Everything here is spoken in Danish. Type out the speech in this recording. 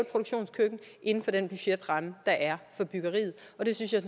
produktionskøkken inden for den budgetramme der er for byggeriet det synes jeg